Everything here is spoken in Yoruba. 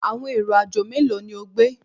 Awọn ero-ajo melo ni o gbe?